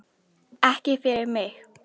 Ekki fyrir mig